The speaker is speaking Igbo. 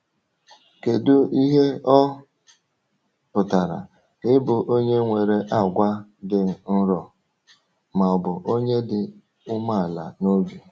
Kedu ihe ọ pụtara ịbụ onye nwere àgwà dị nro, ma ọ bụ onye dị umeala n’obi?